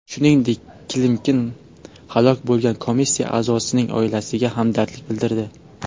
Shuningdek, Klimkin halok bo‘lgan komissiya a’zosining oilasiga hamdardlik bildirdi.